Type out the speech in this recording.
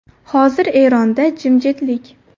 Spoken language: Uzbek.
Hozir Eronda jimjitlik.